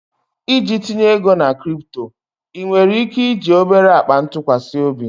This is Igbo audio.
Iji tinye ego na crypto, ị nwere ike iji obere akpa ntụkwasị obi?